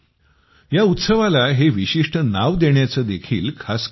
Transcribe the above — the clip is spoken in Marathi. या उत्सवाला हे विशिष्ट नाव देण्याचे देखील खास कारण आहे